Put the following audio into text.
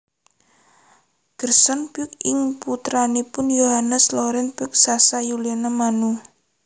Gerson Poyk inggih putranipun Yohannes Laurens Poyk saha Yuliana Manu